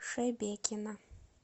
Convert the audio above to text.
шебекино